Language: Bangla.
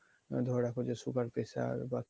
ধরে রাখো যে sugar pressure বা